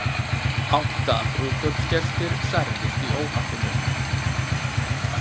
Átta brúðkaupsgestir særðust í óhappinu